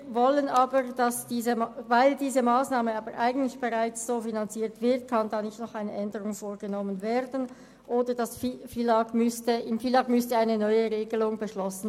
Weil diese Massnahme bereits so finanziert wird, kann nicht noch eine Änderung vorgenommen werden, es sei denn, im FILAG würde eine neue Regelung beschlossen.